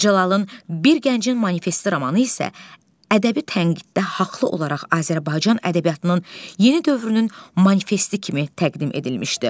Mir Cəlalın Bir Gəncin Manifesti romanı isə ədəbi tənqiddə haqlı olaraq Azərbaycan ədəbiyyatının yeni dövrünün manifesti kimi təqdim edilmişdi.